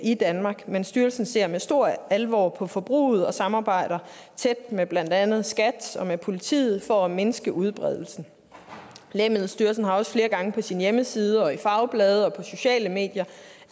i danmark men styrelsen ser med stor alvor på forbruget og samarbejder tæt med blandt andet skat og med politiet for at mindske udbredelsen lægemiddelstyrelsen har også flere gange på sin hjemmeside og i fagblade og på sociale medier